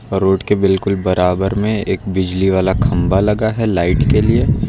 Road के बिल्कुल बराबर में एक बिजली वाला खंभा लगा है लाइट के लिए।